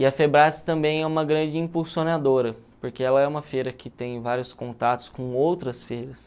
E a também é uma grande impulsionadora, porque ela é uma feira que tem vários contatos com outras feiras.